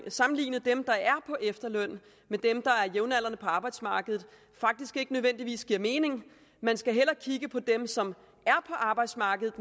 at sammenligne dem der er på efterløn med dem der er jævnaldrende på arbejdsmarkedet faktisk ikke nødvendigvis giver mening man skal hellere kigge på dem som er på arbejdsmarkedet